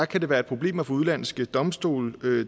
kan det være et problem at få udenlandske domstole